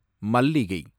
மல்லிகை